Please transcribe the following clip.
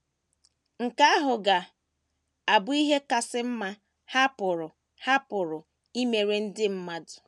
Nke ahụ ga - abụ ihe kasị mma ha pụrụ ha pụrụ imere ndị mmadụ.